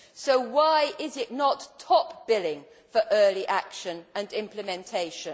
so why is it not top billing for early action and implementation?